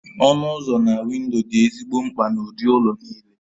Ọnụ ụzọ na windo dị ezigbo mkpa n'ụdị ụlọ niile